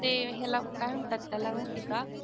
ते ह्याला काय म्हणतात त्याला माहिती का?